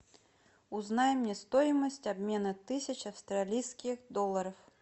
узнай мне стоимость обмена тысячи австралийских долларов